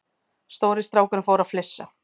Stóri strákurinn fór að flissa.